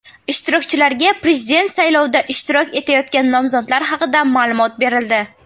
Ishtirokchilarga Prezident saylovida ishtirok etayotgan nomzodlar haqida ma’lumot berildi.